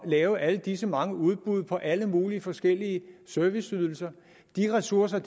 lave alle disse mange udbud af alle mulige forskellige serviceydelser de ressourcer